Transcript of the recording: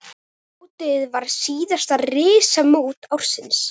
Mótið var síðasta risamót ársins.